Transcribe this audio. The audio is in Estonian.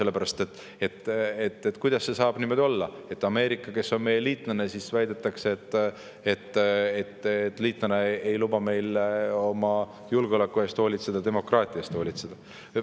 Kuidas see ikkagi saab niimoodi olla, et Ameerika, kes on meie liitlane, ei luba meil oma julgeoleku eest hoolitseda, demokraatia eest hoolitseda.